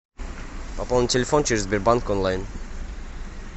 пополнить телефон через сбербанк онлайн